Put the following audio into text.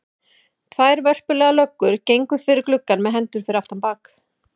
Tvær vörpulegar löggur gengu fyrir gluggann með hendur fyrir aftan bak.